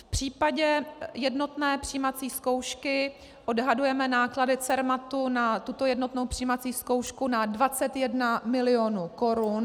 V případě jednotné přijímací zkoušky odhadujeme náklady Cermatu na tuto jednotnou přijímací zkoušku na 21 milionů korun.